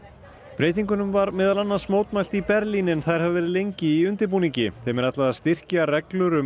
breytingunum var meðal annars mótmælt í Berlín en þær hafa verið lengi í undirbúningi þeim er ætlað að styrkja reglur um